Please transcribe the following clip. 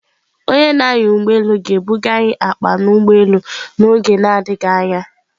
Onye na-anya ụgbọ elu ga-ebuga anyị akpa n'ụgbọelu n'oge na-adịghị anya.